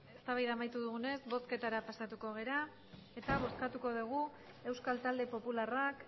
eztabaida amaitu dugunez bozketara pasatuko gara bozkatuko dugu euskal talde popularrak